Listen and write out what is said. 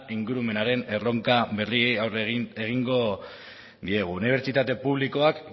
ingurumenaren erronka berri aurre egingo diegu unibertsitate publikoak